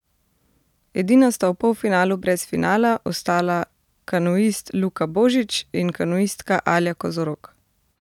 Edina sta v polfinalu brez finala ostala kanuist Luka Božič in kanuistka Alja Kozorog.